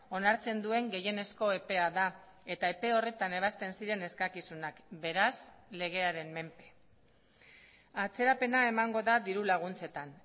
onartzen duen gehienezko epea da eta epe horretan ebazten ziren eskakizunak beraz legearen menpe atzerapena emango da diru laguntzetan